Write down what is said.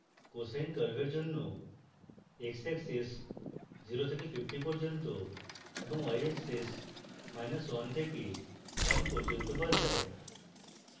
cosine curve জন্য xaxis 0 থেকে 50 পর্যন্ত এবং yaxis মাইনাস 1 থেকে 1 পর্যন্ত বদলায়